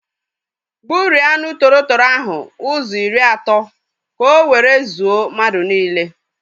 Gburie anụ tọrọ tọrọ ahụ ụzọ iri atọ ka o were zuo mmadụ niile